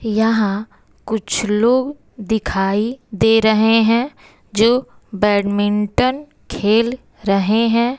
यहां कुछ लोग दिखाई दे रहे हैं जो बैडमिंटन खेल रहे हैं।